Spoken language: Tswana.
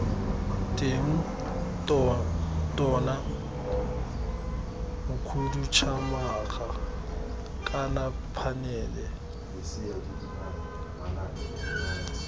teng tona mokhuduthamaga kana phanele